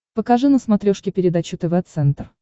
покажи на смотрешке передачу тв центр